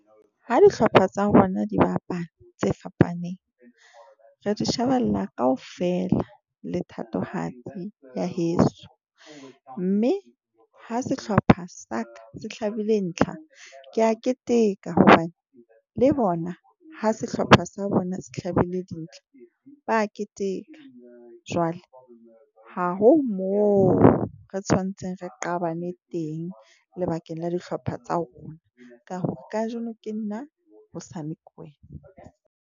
Ha dihlopha tsa rona di bapala tse fapaneng, re di shebella kaofela le thatohatsi ya heso, mme ha sehlopha sa ka se hlabile ntlha, ke a keteka, hobane le bona ha sehlopha sa bona se hlabile dintla ba keteka. Jwale ha ho mo re tshwantseng re qabane teng lebakeng la dihlopha tsa rona, ka hore kajeno ke nna hosane ke wena.